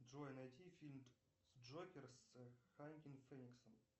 джой найди фильм джокер с хоакином фениксом